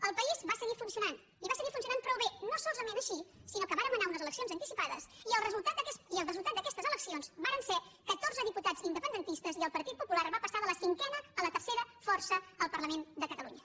el país va seguir funcionant i va seguir funcionant prou bé no solament així sinó que vàrem anar a unes eleccions anticipades i el resultat d’aquestes eleccions varen ser catorze diputats independentistes i el partit popular va passar de la cinquena a la tercera força al parlament de catalunya